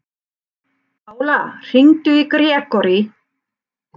Pála, hringdu í Grégory.